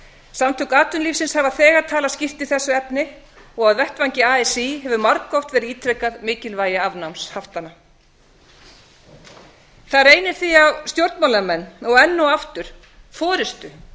samtök atvinnulífsins hafa þegar talað skýrt í þessu efni og á vettvangi así hefur margoft verið ítrekað mikilvægi afnáms haftanna það reynir því á stjórnmálamenn og enn og aftur forustu